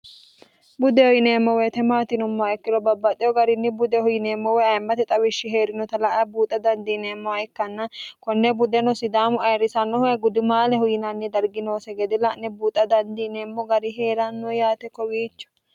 budehu yineemmo woyite maatinommoa ikkiro babbaxeho garinni budehu yineemmo waye ayemmate xawishshi hee'rinota la a buuxa dandiineemmoha ikkanna konne budeno sidaamu ayirrisannohue gudimaalehu yinanni darginoose gede la'ne buuxa dandiineemmo gari hee'ranno yaate kowiicho